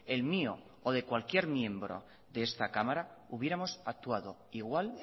el mío o de cualquier miembro de esta cámara hubiéramos actuado igual